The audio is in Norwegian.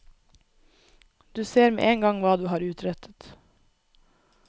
Du ser med en gang hva du har utrettet.